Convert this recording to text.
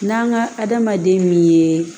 N'an ka adamaden min ye